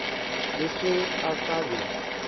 le ge a ka be